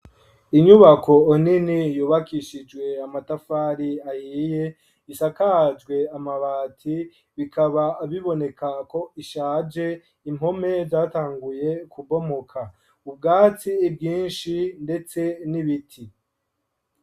Inyubako nini yubakishijwe amatafari ahiye isakajwe amabati bikaba biboneka ko ishaje impome zatanguye kubomoka ubwatsi bwinshi ndetse n'ibiti.